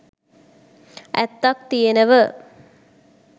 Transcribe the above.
ඇත්තක් තියෙනව.